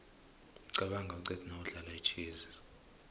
qabanga uqede nawudlala itjhezi